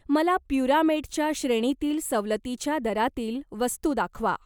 मला प्युरामेटच्या श्रेणीतील सवलतीच्या दरातील वस्तू दाखवा.